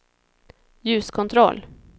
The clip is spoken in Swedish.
ljuskontroll